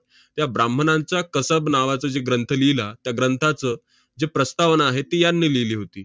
त्या 'ब्राम्हणांचा कसब' नावाचा जे ग्रंथ लिहिला, त्या ग्रंथाचं जी प्रस्तावना आहे, ती यांनी लिहिली होती.